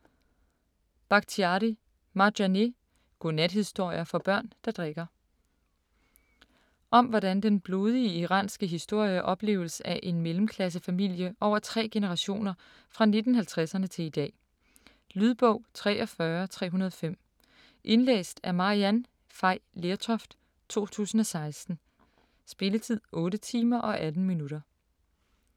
Bakhtiari, Marjaneh: Godnathistorier for børn der drikker Om hvordan den blodige iranske historie opleves af en mellemklassefamilie over tre generationer fra 1950'erne til i dag. Lydbog 43305 Indlæst af Maryann Fay Lertoft, 2016. Spilletid: 8 timer, 18 minutter.